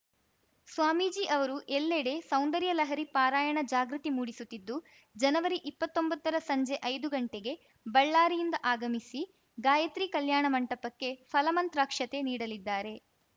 ಸ್ವಾಮೀಜಿ ಅವರು ಎಲ್ಲೆಡೆ ಸೌಂದರ್ಯ ಲಹರಿ ಪಾರಾಯಣ ಜಾಗೃತಿ ಮೂಡಿಸುತ್ತಿದ್ದು ಜನವರಿಇಪ್ಪತ್ತೊಂಬತ್ತರ ಸಂಜೆ ಐದುಗಂಟೆಗೆ ಬಳ್ಳಾರಿಯಿಂದ ಆಗಮಿಸಿ ಗಾಯಿತ್ರಿ ಕಲ್ಯಾಣ ಮಂಟಪಕ್ಕೆ ಫಲಮಂತ್ರಾಕ್ಷತೆ ನೀಡಲಿದ್ದಾರೆ